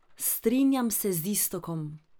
Strinjam se z Iztokom.